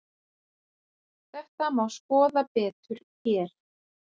Þetta má skoða betur hér.